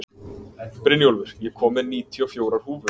Brynjólfur, ég kom með níutíu og fjórar húfur!